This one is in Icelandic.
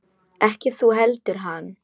Ekki þú heldur hann.